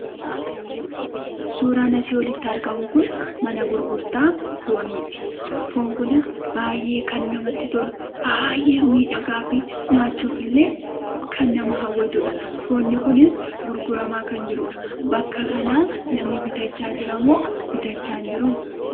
Suuraan asii olitti argamu kun mana gurgurtaa fooniiti. Foon kunis baay'ee kan namatti tolu, baay'ee miidhagaa fi nyaachuuf illee kan nama hawwatuudha. Foonni kunis gurguramaa kan jiruudha. Bakka kanaa namni bitachaa jira moo bitachaa hin jiruu?